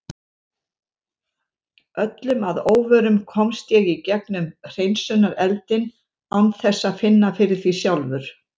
Öllum að óvörum komst ég í gegnum hreinsunareldinn án þess að finna fyrir því sjálfur.